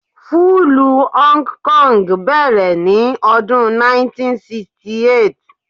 Fúlúù Hong Kong bẹ̀rẹ̀ ní ọdún 1968.